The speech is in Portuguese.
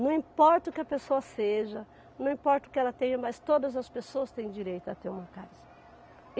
Não importa o que a pessoa seja, não importa o que ela tenha, mas todas as pessoas têm direito a ter uma casa.